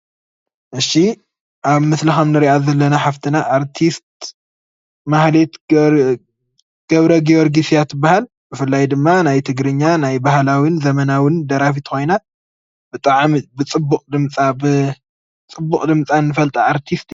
እሺ ኣብ ምስሊ ከም እንርእያ ዘለና ሓፍትና ኣርቲስት ማህሌት ገብረገርግስ እያ ትባሃል። ብፍላይ ድማ ናይ ትግርኛ ናይ ባህላውን ዘመናውን ደራፊት ኮይና ብጣዕሚ ብፅቡቅ ድምፃ ብፅቡቅ ድምፃ እንፈልጣ ኣርቲስት